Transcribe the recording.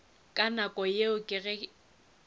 ka nako yeo ke ge